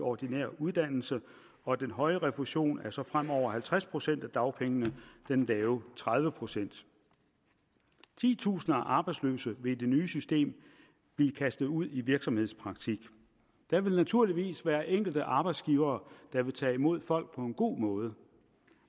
ordinær uddannelse og den høje refusionssats bliver så fremover halvtreds procent af dagpengene den lave tredive procent titusinder af arbejdsløse vil i det nye system blive kastet ud i virksomhedspraktik der vil naturligvis være nogle enkelte arbejdsgivere der vil tage imod folk på en god måde